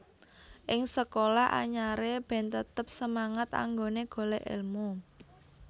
Ing sekolah anyare ben tetep semangat anggone golek elmu